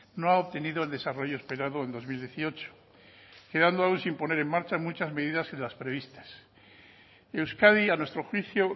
no ha obtenido el desarrollo esperado en dos mil dieciocho quedando aún sin poner en marcha muchas medidas y las previstas euskadi a nuestro juicio